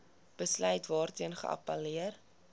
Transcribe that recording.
besluit waarteen geappelleer